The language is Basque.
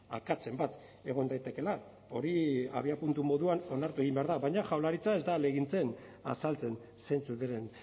akatsen bat egon daitekeela hori abiapuntu moduan onartu egin behar da baina jaurlaritza ez da ahalegintzen azaltzen zeintzuk diren